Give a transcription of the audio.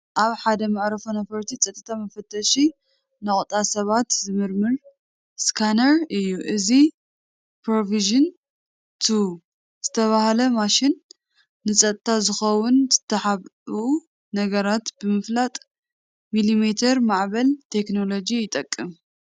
ኣብ ሓደ ናይ መዓርፎ ነፈርቲ ጸጥታ መፈተሺ ነቑጣ ሰባት ዝምርምር ስካነር እዩ። እዚ "ፕሮቪዥን 2" ዝተባህለ ማሽን፡ ንጸጥታ ዝኸውን ዝተሓብኡ ነገራት ንምፍላጥ ሚሊሜተር ማዕበል ቴክኖሎጂ ይጥቀም።